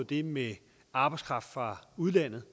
det med arbejdskraft fra udlandet